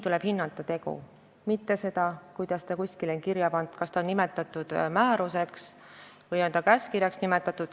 Tuleb hinnata tegu, mitte seda, kuidas kuskile on kirja pandud, kas seda on nimetatud määruseks või käskkirjaks.